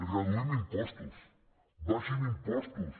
reduïm impostos abaixin impostos